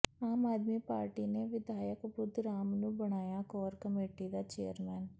ਆਮ Aadmi party ਨੇ ਵਿਧਾਇਕ ਬੁੱਧ ਰਾਮ ਨੂੰ ਬਣਾਇਆ ਕੋਰ ਕਮੇਟੀ ਦਾ ਚੇਅਰਮੈਨ